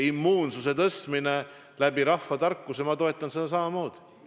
Immuunsuse tõstmine rahvatarkusi kasutades – ma toetan seda samamoodi.